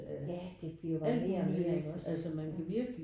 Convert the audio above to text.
Ja det bliver jo bare mere og mere iggås ja